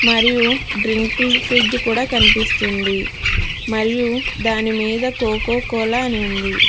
మరియు డ్రింక్లు ఫ్రిజ్ కూడ కనిపిస్తుంది మరియు దానిమీద కొకో కోలా అని ఉంది.